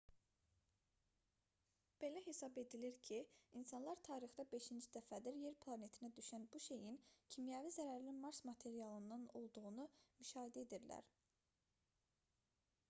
belə hesab edilir ki insanlar tarixdə beşinci dəfədir yer planetinə düşən bu şeyin kimyəvi zərərli mars materialından olduğunu müşahidə edirlər